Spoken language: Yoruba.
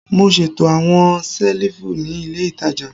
Mo ṣeto awọn selifu ni ile itaja